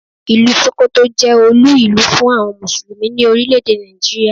Ìlú Sókótó jẹ́ olú ìlú fún àwọn Mùsùlùmí ní Orílẹ̀ èdè Nàìjíríà.